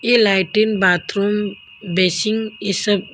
ये lighting bathroom basin इसब--